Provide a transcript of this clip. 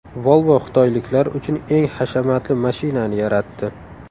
Volvo xitoyliklar uchun eng hashamatli mashinani yaratdi.